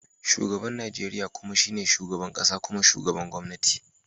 Shugaban Najeriya kuma shine shugaban kasa kuma shugaban gwamnati.